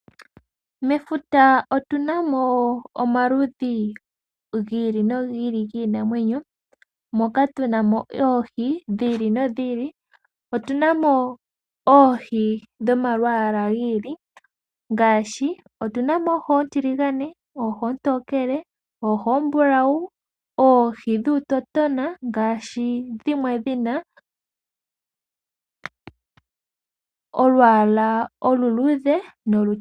Mefuta otu na mo omaludhi gi ili nogi ili giinamwenyo, moka tuna mo oohi dhi ili nodhi ili. Otu na mo oohi dhomalwaala gi ili ngaashi otuna mo oohi oontiligane, oohi oontokele, oohi oombulawu, oohi dhuutotona ngaashi dhimwe dhi na olwaala oluluudhe nolutokele.